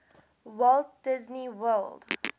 walt disney world